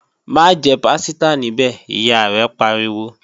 Má jẹ pásítà níbẹ̀, Ìyá rẹ̀ pariwo!